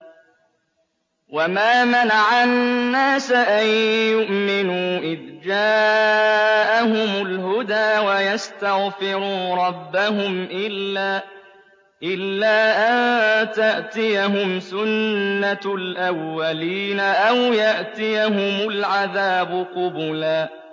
وَمَا مَنَعَ النَّاسَ أَن يُؤْمِنُوا إِذْ جَاءَهُمُ الْهُدَىٰ وَيَسْتَغْفِرُوا رَبَّهُمْ إِلَّا أَن تَأْتِيَهُمْ سُنَّةُ الْأَوَّلِينَ أَوْ يَأْتِيَهُمُ الْعَذَابُ قُبُلًا